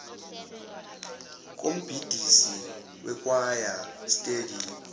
kombhidisi wekhwaya steady